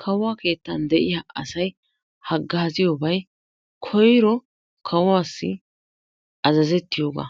kawuwa keettan de'iyaa asay hagaaziyoobay koyro kawuwassi azazettiyooga,